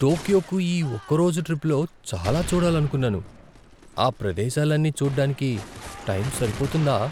టోక్యోకు ఈ ఒకరోజు ట్రిప్‌లో చాలా చూడాలనుకున్నాను. ఆ ప్రదేశాలన్నీ చూడ్డానికి టైం సరిపోతుందా?